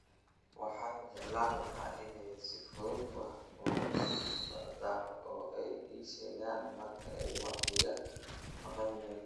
Waxaan jeclaan lahaa inay si fudud wax ula socdaan oo ay ii sheegaan marka ay wax iga maqan yihiin